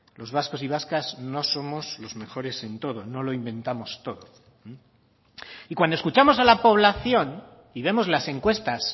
los vascos y vascas no somos los mejores en todo no lo inventamos todo y cuando escuchamos a la población y vemos las encuestas